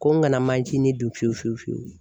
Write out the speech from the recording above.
Ko n kana manjinin dun fiyewu fiyewu fiyewu.